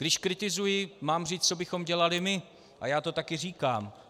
Když kritizuji, mám říci, co bychom dělali my, a já to také říkám.